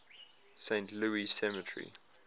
saint louis cemetery